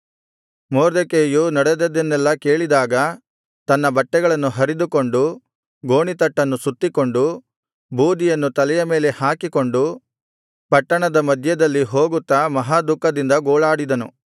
ಮೊರ್ದೆಕೈಯು ನಡೆದದ್ದನ್ನೆಲ್ಲಾ ಕೇಳಿದಾಗ ತನ್ನ ಬಟ್ಟೆಗಳನ್ನು ಹರಿದುಕೊಂಡು ಗೋಣಿತಟ್ಟನ್ನು ಸುತ್ತಿಕೊಂಡು ಬೂದಿಯನ್ನು ತಲೆಯ ಮೇಲೆ ಹಾಕಿಕೊಂಡು ಪಟ್ಟಣದ ಮಧ್ಯದಲ್ಲಿ ಹೋಗುತ್ತಾ ಮಹಾದುಃಖದಿಂದ ಗೋಳಾಡಿದನು